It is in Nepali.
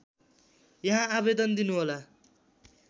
यहाँ आवेदन दिनुहोला